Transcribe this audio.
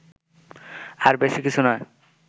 আর বেশি কিছু নয়